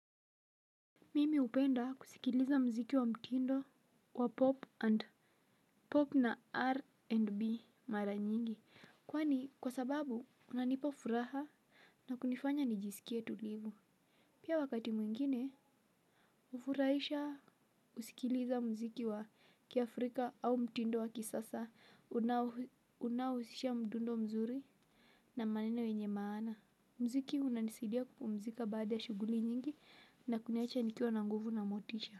Mimi hupenda kusikiliza muziki wa mtindo wa pop na R&B mara nyingi. Kwani kwa sababu unanipa furaha na kunifanya nijisikie tulivu. Pia wakati mwingine hufurahisha kusikiliza mziki wa kiafrika au mtindo wa kisasa unaohusisha mdundo mzuri na maneno yenye maana. Muziki unanisaidia kupumzika baada ya shughuli nyingi na kuniacha nikiwa na nguvu na motisha.